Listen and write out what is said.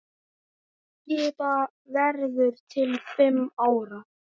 Skipað verður til fimm ára.